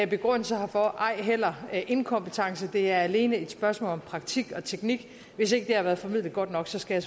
begrundelse herfor ej heller inkompetence det er alene et spørgsmål om praktik og teknik hvis ikke det har været formidlet godt nok skal